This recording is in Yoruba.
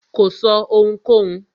Kò sọ́ ohunkóhun.